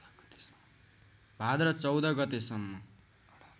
भाद्र १४ गतेसम्म